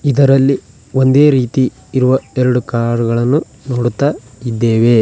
ಇದರಲ್ಲಿ ಒಂದೇ ರೀತಿ ಇರುವ ಎರಡು ಕಾರ್ ಗಳನ್ನು ನೋಡುತ್ತಾ ಇದ್ದೇವೆ.